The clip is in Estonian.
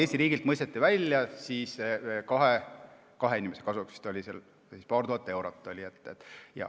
Eesti riigilt mõisteti kahe inimese kasuks välja paar tuhat eurot.